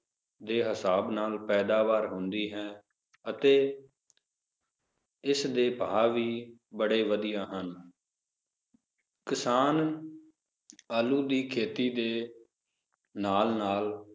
ਦੇ ਹਿਸਾਬ ਨਾਲ ਪੈਦਾਵਾਰ ਹੁੰਦੀ ਹੈ ਅਤੇ ਇਸ ਦੇ ਭਾਵ ਵੀ ਬੜੇ ਵਧੀਆ ਹਨ ਕਿਸਾਨ ਆਲੂ ਦੀ ਫਸਲ ਦੇ ਨਾਲ ਨਾਲ,